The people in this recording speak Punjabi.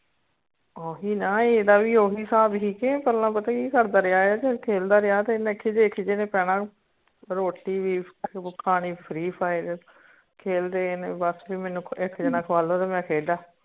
ਉਇ ਨਾ ਏਹ ਦਾ ਉਇ ਹਿਸਾਬ ਹੇਗਾ ਪਹਿਲਾ ਪਤਾ ਕਿ ਕਰਦਾ ਰਿਹਾ ਹੈ ਖੇਲਦਾ ਰਿਹਾ ਤੇ ਇਨੇ ਖਿੱਜੇ ਖਿੱਜੇ ਨੇ ਪੈਣਾ ਰੋਟੀ ਵੀ ਖਾਨੀ free fire ਖੇਲਦੇ ਨੇ ਬਸ ਕਿ ਮੈਨੂੰ ਇਕ ਜਨਾ ਖ਼ਵਾ ਦੇ ਤੇ ਮੈਂ ਖੇਲ ਰਿਹਾ